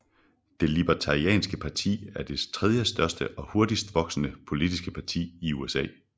Det Libertarianske Parti er det tredjestørste og hurtigst voksende politiske parti i USA